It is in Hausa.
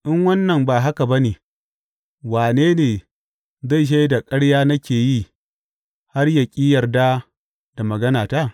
In wannan ba haka ba ne, wane ne zai shaida ƙarya nake yi har yă ƙi yarda da maganata?